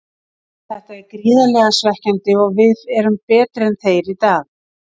Þetta er gríðarlega svekkjandi og við erum betri en þeir í dag.